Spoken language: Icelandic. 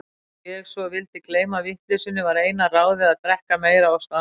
Þegar ég svo vildi gleyma vitleysunni, var eina ráðið að drekka meira og stanslaust.